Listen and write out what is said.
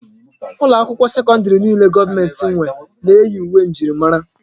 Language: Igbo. Ụlọ akwụkwọ sekọndrì niile gọọmenti nwe na-eyi uwe njirimara.